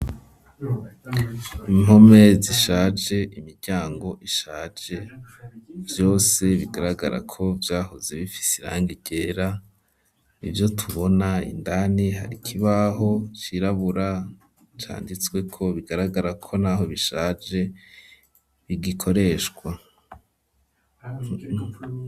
Impome zishaje imiryango ishaje vyose bigaragara ko vyahoze bifise irangi ryera, ivyo tubona indani hari ikibaho cirabura canditsweko bigaragara ko n'aho bishaje bigikoreshwa.